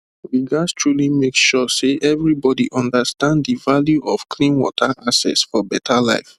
we gats truly make sure say everybody understand the value of clean water access for better life